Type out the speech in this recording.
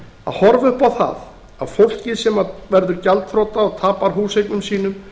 að horfa upp á það að fólkið sem verður gjaldþrota og tapar húseignum sínum